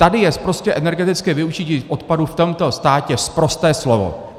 Tady je prostě energetické využití odpadů v tomto státě sprosté slovo.